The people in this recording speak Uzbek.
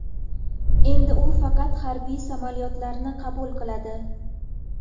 Endi u faqat harbiy samolyotlarni qabul qiladi.